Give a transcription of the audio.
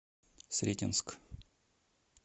сретенск